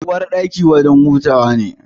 Uwarɗaki wajen hutawa ne.